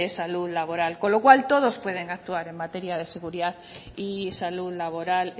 salud laboral con lo cual todos pueden actuar en materia de seguridad y salud laboral